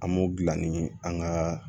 An m'o dilan ni an ka